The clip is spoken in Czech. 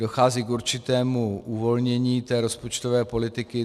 Dochází k určitému uvolnění té rozpočtové politiky.